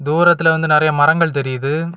தூரத்துல வந்து நறைய மரங்கள் தெரிது.